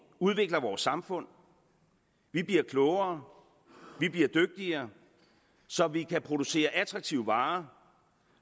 udvikler vores samfund vi bliver klogere og vi bliver dygtigere så vi kan producere attraktive varer